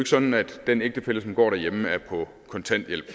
sådan at den ægtefælle som går derhjemme er på kontanthjælp